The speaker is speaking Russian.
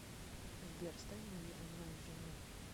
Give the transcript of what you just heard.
сбер стань моей онлайн женой